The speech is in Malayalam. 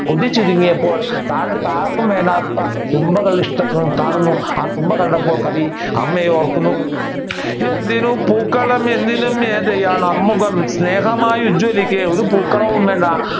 ചുരിങ്ങിയപ്പോൾ താഴ്ത്ത് ആർക്കും വേണ്ടാത്ത തുമ്പകളും കാണുന്നു തുമ്പ കണ്ടപ്പോൾ കവി അമ്മയെ ഓർക്കുന്നു എന്തിനു പൂക്കളം ഒരു പൂക്കളവും വേണ്ട